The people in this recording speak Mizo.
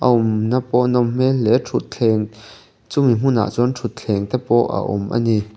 a awm na pawh a nawm hmel hle thutthleng chumi hmunah chuan thutthleng te pawh a awm a ni.